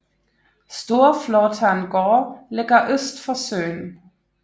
Storflåtan gård ligger øst for søen